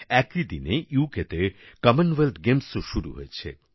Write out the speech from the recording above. একই দিনে উক তে কমনওয়েলথ গেমসও শুরু হয়েছে